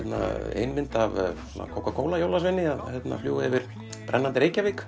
ein mynd af svona kókakóla jólasveini að fljúga yfir brennandi Reykjavík